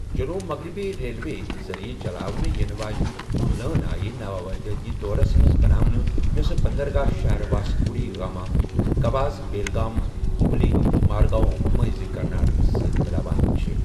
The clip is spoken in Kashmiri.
جنوب مغربی ریلوے یہِ ذٔریعہٕ چلاوٕنہٕ یِنہٕ واجیٚنہِ لٲن آیہ نوآبادیٲتی دورَس منز بناونہٕ یوٚسہٕ بندرگاہ شَہر واسکو ڈی گاما، گوہس بیلگامَ ، ہُبلی، مارگاؤں مٕنٛزِ کرناٹکس سۭتۍ مِلاوان چھے٘ ۔